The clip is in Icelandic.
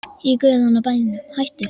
Í guðanna bænum hættu